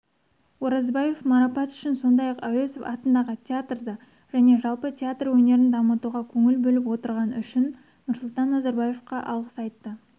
оразбаев марапат үшін сондай-ақ әуезов атындағы театрды және жалпы театр өнерін дамытуға көңіл бөліп отырғаны үшін нұрсұлтан назарбаевқа алғыс айтты